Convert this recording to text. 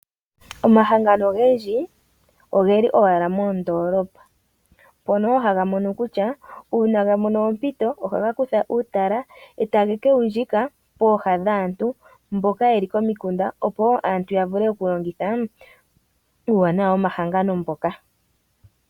Omahangano ogendji ogeli owala mondolopa, mpono haga mono kutya uuna ga mona ompito ohaga kutha uutala eta ye kewundjika pooha dhaantu mboka ye li komiikunda opo wo aantu ya vule okulongitha uuwana gomahangano ngoka.